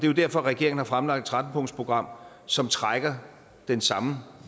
jo derfor regeringen har fremlagt et tretten punktsprogram som trækker den samme